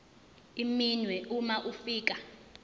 iminwe uma ufika